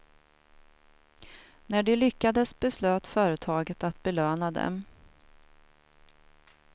När de lyckades beslöt företaget att belöna dem.